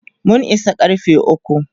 mun Isa karfe ukwu